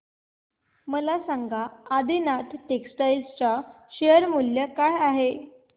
मला सांगा आदिनाथ टेक्स्टटाइल च्या शेअर चे मूल्य काय आहे